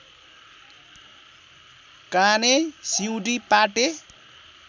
काने सिउँडी पाटे